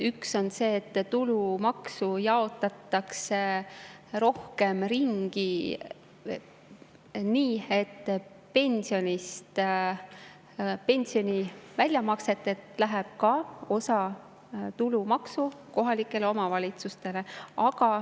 Üks on see, et tulumaksu jaotatakse rohkem ringi nii, et pensioni väljamakselt läheb osa tulumaksu kohalikele omavalitsustele.